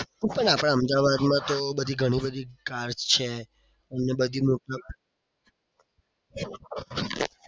આપણે અમદાવાદમાં તો બધી ગણી બધી cars છે.